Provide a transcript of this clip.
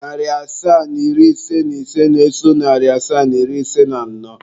Narị asaa na iri ise na ise na-eso narị asaa na iri ise na anọ.